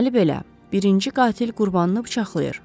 Deməli belə: birinci qatil qurbanını bıçaqlayır.